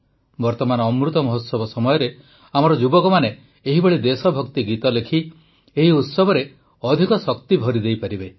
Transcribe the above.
ବର୍ତ୍ତମାନ ଅମୃତ ମହୋତ୍ସବ ସମୟରେ ଆମର ଯୁବକମାନେ ଏହିଭଳି ଦେଶଭକ୍ତି ଗୀତ ଲେଖି ଏହି ଉତ୍ସବରେ ଅଧିକ ଶକ୍ତି ଭରି ଦେଇପାରିବେ